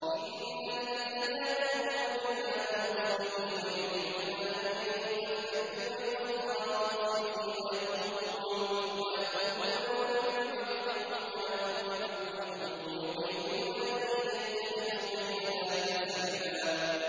إِنَّ الَّذِينَ يَكْفُرُونَ بِاللَّهِ وَرُسُلِهِ وَيُرِيدُونَ أَن يُفَرِّقُوا بَيْنَ اللَّهِ وَرُسُلِهِ وَيَقُولُونَ نُؤْمِنُ بِبَعْضٍ وَنَكْفُرُ بِبَعْضٍ وَيُرِيدُونَ أَن يَتَّخِذُوا بَيْنَ ذَٰلِكَ سَبِيلًا